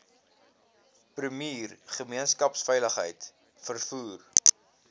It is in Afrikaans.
premier gemeenskapsveiligheid vervoer